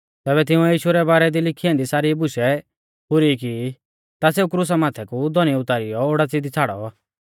ज़ैबै तिंउऐ यीशु रै बारै दी लिखी ऐन्दी सारी बुशै पुरी की ता सेऊ क्रुसा माथै कु धौनी उतारीयौ ओडाच़ी दी छ़ाड़ौ